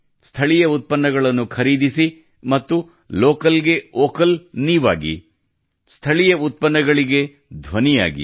ಸ್ಥಳೀಯ ಉತ್ಪನ್ನಗಳನ್ನು ಖರೀದಿಸಿ ಮತ್ತು ಲೋಕಲ್ ಗೆ ವೋಕಲ್ ನೀವಾಗಿ ಸ್ಥಳೀಯ ಉತ್ಪನ್ನಗಳಿಗೆ ಧ್ವನಿಯಾಗಿ